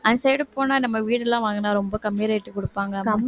அந்த side போனா நம்ம வீடெல்லாம் வாங்கினா ரொம்ப கம்மி rate க்கு கொடுப்பாங்க